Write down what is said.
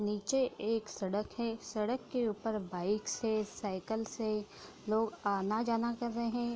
नीचे एक सड़क है। सड़क के ऊपर बाइक्स है। साइकल्स है। लोग आना-जाना कर रहे --